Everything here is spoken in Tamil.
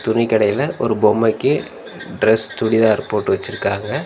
துணிக்கடையில ஒரு பொம்மைக்கு டிரஸ் சுடிதார் போட்டு வெச்சிருக்காங்க.